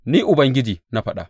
Ni Ubangiji na faɗa.